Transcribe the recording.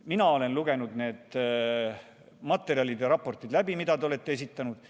Mina olen lugenud läbi need materjalid ja raportid, mida te olete esitanud.